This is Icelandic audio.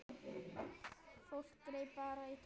Fólk greip bara í tómt.